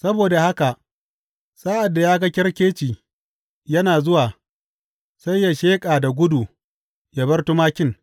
Saboda haka sa’ad da ya ga kyarkeci yana zuwa, sai yă sheƙa da gudu yă bar tumakin.